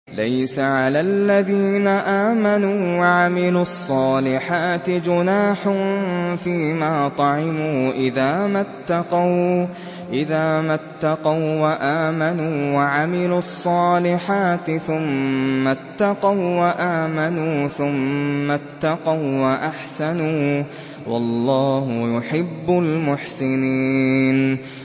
لَيْسَ عَلَى الَّذِينَ آمَنُوا وَعَمِلُوا الصَّالِحَاتِ جُنَاحٌ فِيمَا طَعِمُوا إِذَا مَا اتَّقَوا وَّآمَنُوا وَعَمِلُوا الصَّالِحَاتِ ثُمَّ اتَّقَوا وَّآمَنُوا ثُمَّ اتَّقَوا وَّأَحْسَنُوا ۗ وَاللَّهُ يُحِبُّ الْمُحْسِنِينَ